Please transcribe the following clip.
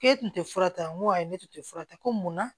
K'e tun tɛ fura ta n ko ayi ne tun tɛ fura ta ko mun na